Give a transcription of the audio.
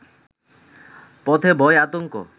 পথে ভয়-আতঙ্ক